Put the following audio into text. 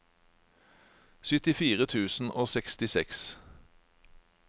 syttifire tusen og sekstiseks